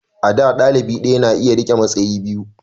a da dalibi daya na iya rike matsayi biyu